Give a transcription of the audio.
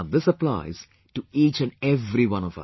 and this applies to each and every one of us